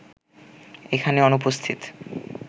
এখানে অনুপস্থিত